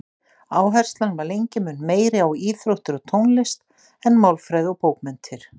Áherslan var lengi mun meiri á íþróttir og tónlist en málfræði og bókmenntir.